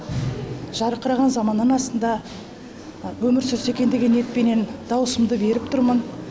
жарқыраған заманның астында өмір сүрсе екен деген ниетпенен даусымды беріп тұрмын